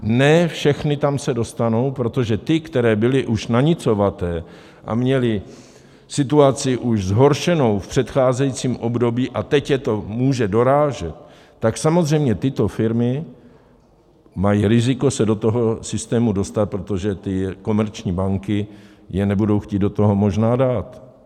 Ne všechny tam se dostanou, protože ty, které byly už nanicovaté a měly situaci už zhoršenou v předcházejícím období, a teď je to může dorážet, tak samozřejmě tyto firmy mají riziko se do toho systému dostat, protože ty komerční banky je nebudou chtít do toho možná dát.